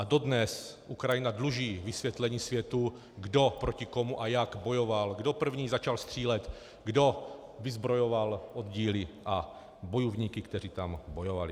A dodnes Ukrajina dluží vysvětlení světu, kdo proti komu a jak bojoval, kdo první začal střílet, kdo vyzbrojoval oddíly a bojovníky, kteří tam bojovali.